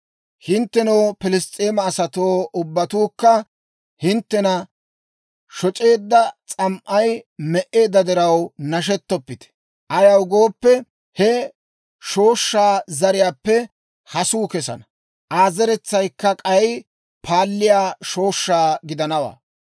«Hinttenoo Piliss's'eema asatoo ubbatuukka, hinttena shoc'eedda s'am"ay me"eedda diraw nashettoppite; ayaw gooppe, he shooshshaa zariyaappe hasuu kesana; Aa zeretsaykka k'ay paalliyaa shooshshaa gidanawaa.